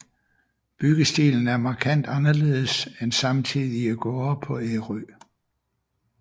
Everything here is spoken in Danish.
Byggestilen er markant anderledes end samtidige gårde på Ærø